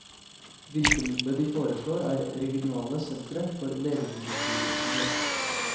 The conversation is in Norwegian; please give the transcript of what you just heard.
Virkemidlet de foreslår, er regionale sentre for legemiddelbivirkninger.